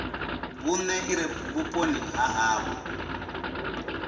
vhune ire vhuponi ha havho